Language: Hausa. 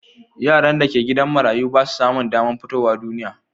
Yaran da ke gidan marayu ba su samun damar fitowa duniya